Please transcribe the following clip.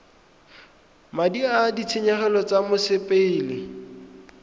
madi a ditshenyegelo tsa mosepele